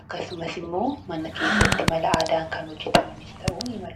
akkasumas immoo mana keessatti mala aadaan kan hojjetamanis ta'uu nii malu.